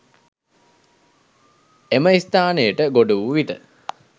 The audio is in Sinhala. එම ස්ථානයට ගොඩ වූ විට